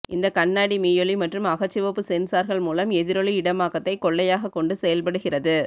இந்தக் கண்ணாடி மீயொலி மற்றும் அகச்சிவப்பு சென்சார்கள் மூலம் எதிரொலி இடமாக்கத்தை கொள்கையாக கொண்டு செயல்படுகிறது